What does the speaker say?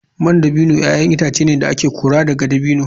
Man dabino ‘ya’yan itace ne da ake kora daga dabino.